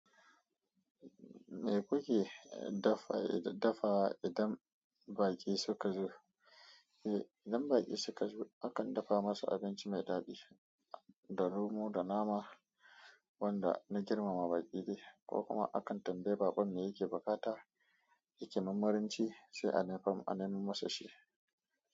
Me kuke dafawa idan baƙi suka zo? Eh, idan baƙi suka zo, akan dafa masu abinci mai daɗi, da romo da nama wanda na girmama baƙi dai, ko kuma akan tambayi baƙon me yake buƙata, yake marmarin ci, sai a nemo masa shi.